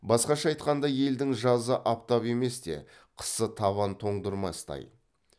басқаша айтқанда елдің жазы аптап емес те қысы табан тоңдырмастай